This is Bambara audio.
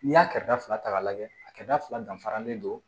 N'i y'a kɛrɛda ta k'a lajɛ a kɛra fila danfara de ye